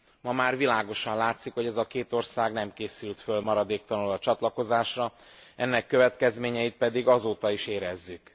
Ma már világosan látszik, hogy ez a két ország nem készült fel maradéktalanul a csatlakozásra, ennek következményeit pedig azóta is érezzük.